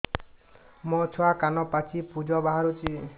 ମୋ ଛୁଆ କାନ ପାଚି ପୂଜ ବାହାରୁଚି